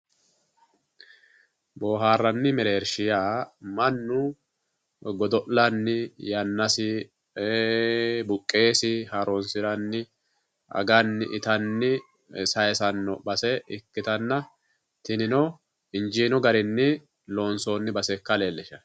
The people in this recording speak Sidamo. Booharranni mereershi yaa mannu godo'lanni yannasi ee buqesi haaronsiranni aganni ittanni saysano base ikkittanna tinino injiino garini loonsonni base ikka leellishano.